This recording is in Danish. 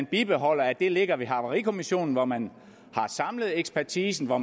bibeholdes at det ligger havarikommissionen hvor man har samlet ekspertisen hvor